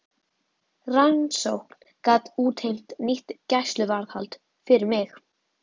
Rannsókn gat útheimt nýtt gæsluvarðhald fyrir mig.